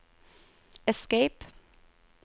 escape